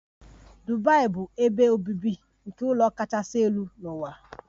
Dubai bụ ebe obibi nke ụlọ kachasị elu n'ụwa.